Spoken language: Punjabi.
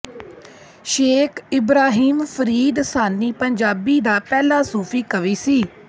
ਸ਼ੇਖ ਇਬਰਾਹੀਮ ਫਰੀਦ ਸਾਨੀ ਪੰਜਾਬੀ ਦਾ ਪਹਿਲਾ ਸੂਫੀ ਕਵੀ ਸੀ